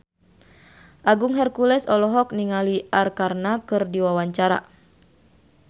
Agung Hercules olohok ningali Arkarna keur diwawancara